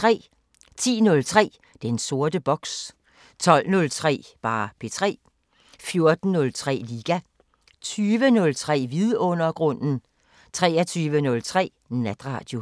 10:03: Den sorte boks 12:03: P3 14:03: Liga 20:03: Vidundergrunden 23:03: Natradio